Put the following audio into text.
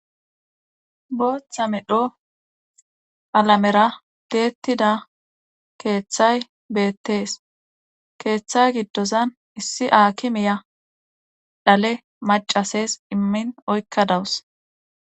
Bootha medho qalamera tiyettida keethay beettees keetha giddozan issi aakimiya dhale maccasees immin oykkadaws.